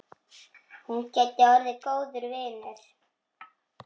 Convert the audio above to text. Hún gæti orðið góður vinur.